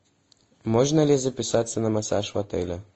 можно ли записаться на массаж в отеле